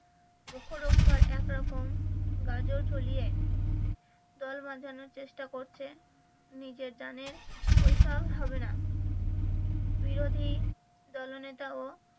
মুখ রক্ষার একরকম গাজর ঝুলিয়ে দল বাধানোর চেষ্টা করছে নিজে জানেন ঐসব হবেনা বিরোধী দলনেতা ও